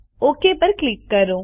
okay પર click કરો